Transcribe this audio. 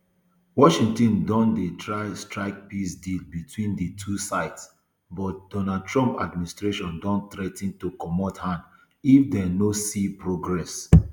washington don dey try strike peace deal between di two sides but donald trump administration don threa ten to comot hand if dem no see progress